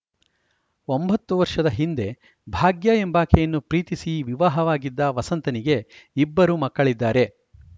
ಒಂಬತ್ತು ವರ್ಷದ ಹಿಂದೆ ಭಾಗ್ಯ ಎಂಬಾಕೆಯನ್ನು ಪ್ರೀತಿಸಿ ವಿವಾಹವಾಗಿದ್ದ ವಸಂತನಿಗೆ ಇಬ್ಬರು ಮಕ್ಕಳಿದ್ದಾರೆ